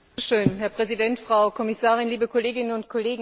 Herr Präsident, Frau Kommissarin, liebe Kolleginnen und Kollegen!